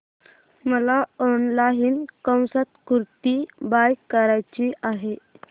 मला online kurti buy करायची आहे